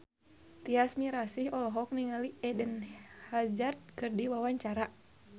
Tyas Mirasih olohok ningali Eden Hazard keur diwawancara